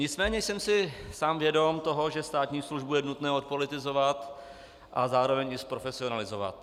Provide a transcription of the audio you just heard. Nicméně jsem si sám vědom toho, že státní službu je nutno odpolitizovat a zároveň i zprofesionalizovat.